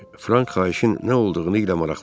Frank xahişin nə olduğunu ilə maraqlanıb.